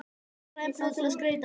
græn blöð til að skreyta með